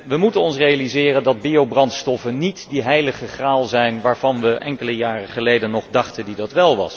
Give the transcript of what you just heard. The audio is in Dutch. We moeten ons realiseren dat biobrandstoffen niet de heilige graal zijn waar we ze enkele jaren geleden nog voor hielden.